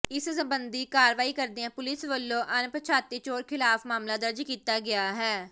ਇਸ ਸਬੰਧੀ ਕਾਰਵਾਈ ਕਰਦਿਆਂ ਪੁਲਿਸ ਵੱਲੋਂ ਅਣਪਛਾਤੇ ਚੋਰ ਖ਼ਿਲਾਫ਼ ਮਾਮਲਾ ਦਰਜ ਕੀਤਾ ਗਿਆ ਹੈ